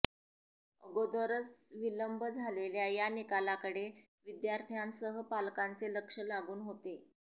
अगोदरच विलंब झालेल्या या निकालाकडे विद्यार्थ्यांसह पालकांचे लक्ष लागून होते